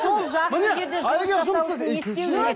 сол жақсы жерде жасау үшін не істеу керек